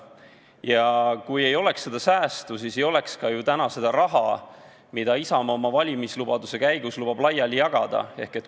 Ja kui ei oleks seda säästu, siis ei oleks ka ju täna seda raha, mida Isamaa oma valimislubaduse käigus lubab laiali jagada.